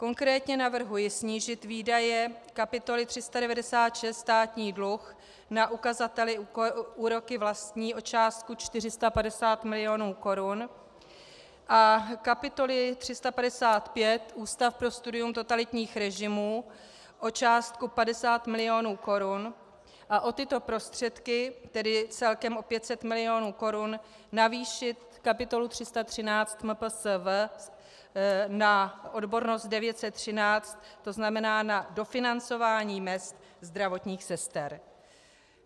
Konkrétně navrhuji snížit výdaje kapitoly 396 Státní dluh na ukazateli úroky vlastní o částku 450 milionů korun a kapitoly 355 Ústav pro studium totalitních režimů o částku 50 milionů korun a o tyto prostředky, tedy celkem o 500 milionů korun, navýšit kapitolu 313 MPSV na odbornost 913, to znamená na dofinancování mezd zdravotních sester.